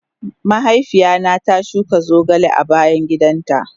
Mahaifiya na ta shuka zogale a bayan gidan ta.